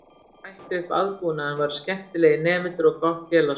Það sem bætti upp aðbúnaðinn voru skemmtilegir nemendur og gott félagslíf.